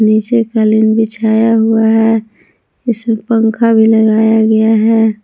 नीचे कालीन बिछाया हुआ है इसमें पंखा भी लगाया गया है।